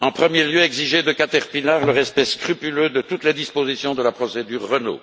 En premier lieu, exiger de Caterpillar le respect scrupuleux de toutes les dispositions de la procédure Renault.